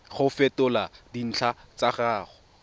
go fetola dintlha tsa gago